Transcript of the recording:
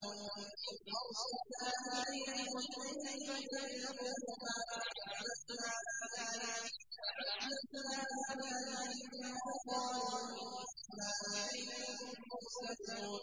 إِذْ أَرْسَلْنَا إِلَيْهِمُ اثْنَيْنِ فَكَذَّبُوهُمَا فَعَزَّزْنَا بِثَالِثٍ فَقَالُوا إِنَّا إِلَيْكُم مُّرْسَلُونَ